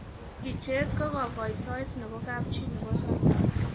Picheet ko kakoitoet nebo kapchii nebo Sarker